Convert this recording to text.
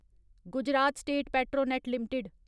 Gujarat state Petronet limited